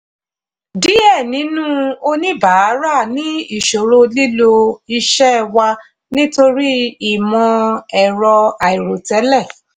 díẹ̀ nínú oníbàárà ní ìṣòro lílo iṣẹ́ wa nítorí ìmọ̀-ẹ̀rọ àìròtẹ́lẹ̀.